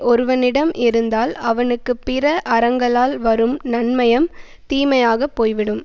ஒருவனிடம் இருந்தால் அவனுக்கு பிற அறங்களால் வரும் நன்மையம் தீமையாகப் போய்விடும்